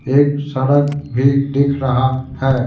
एक सड़क भी दिख रहा है।